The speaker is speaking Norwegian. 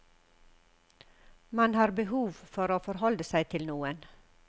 Man har behov for å forholde seg til noen.